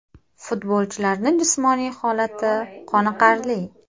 Futbolchilarni jismoniy holati qoniqarli.